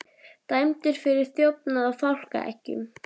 Dæmdur fyrir þjófnað á fálkaeggjum